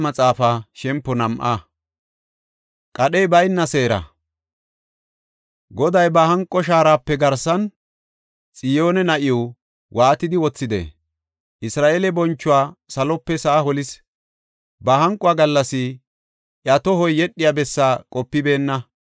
Goday ba hanqo shaarape garsan, Xiyoone na7iw, waatidi wothide! Isra7eele bonchuwa salope sa7a holis; ba hanquwa gallas, iya tohoy yedhiya bessaa qopibeenna.